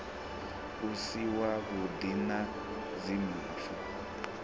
u si wavhuḓi na dzimpfu